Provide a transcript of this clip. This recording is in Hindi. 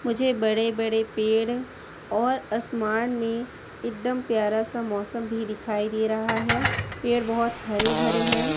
मुझे बड़े बड़े पेड़ और आसमान में एकदम प्यारा सा मौसम भी दिखाई दे रहा है। पेड़ बहोत हरे भरे हैं।